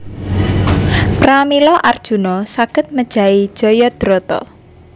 Pramila Arjuna saged mejahi Jayadrata